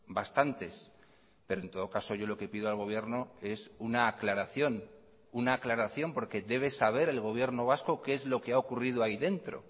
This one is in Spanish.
bastantes pero en todo caso yo lo que pido al gobierno es una aclaración una aclaración porque debe saber el gobierno vasco qué es lo que ha ocurrido ahí dentro